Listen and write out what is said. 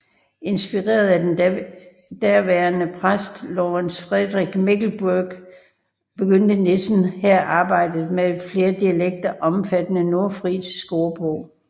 Inspireret af den derværende præst Lorenz Friedrich Mechlenburg begyndte Nissen her arbejdet med en flere dialekter omfattende nordfrisisk ordbog